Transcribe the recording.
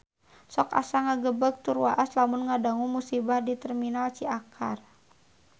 Sok asa ngagebeg tur waas lamun ngadangu musibah di Terminal Ciakar